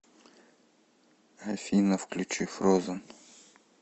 афина включи фроузен